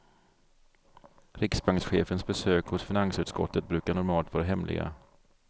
Riksbankschefens besök hos finansutskottet brukar normalt vara hemliga.